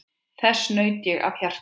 Þess naut ég af hjarta.